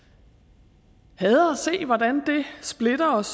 se hvordan det splitter os